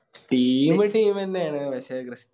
Team team ന്നെയാണ് പക്ഷെ ക്രി